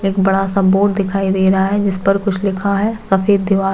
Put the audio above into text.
एक बड़ा सा बोर्ड दिखाई दे रहा है जिसपे कुछ लिखा है सफ़ेद दिवार--